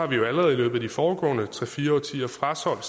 vi jo allerede i løbet af de foregående tre fire årtier frasolgt